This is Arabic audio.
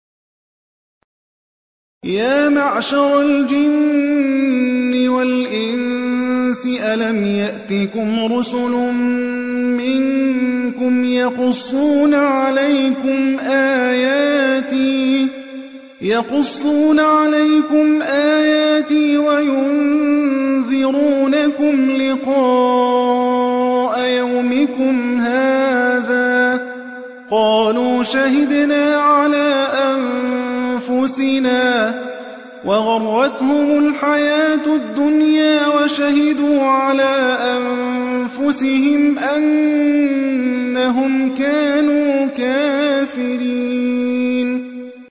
يَا مَعْشَرَ الْجِنِّ وَالْإِنسِ أَلَمْ يَأْتِكُمْ رُسُلٌ مِّنكُمْ يَقُصُّونَ عَلَيْكُمْ آيَاتِي وَيُنذِرُونَكُمْ لِقَاءَ يَوْمِكُمْ هَٰذَا ۚ قَالُوا شَهِدْنَا عَلَىٰ أَنفُسِنَا ۖ وَغَرَّتْهُمُ الْحَيَاةُ الدُّنْيَا وَشَهِدُوا عَلَىٰ أَنفُسِهِمْ أَنَّهُمْ كَانُوا كَافِرِينَ